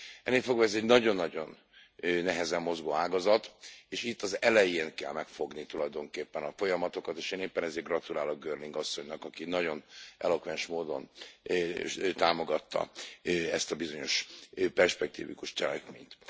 Ennélfogva ez egy nagyon nagyon nehezen mozgó ágazat, és itt az elején kell megfogni tulajdonképpen a folyamatokat, és én éppen ezért gratulálok Girling asszonynak, aki nagyon elokvens módon támogatta ezt a bizonyos perspektivikus cselekményt.